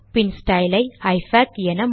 பின் ஸ்டைலை இஃபாக்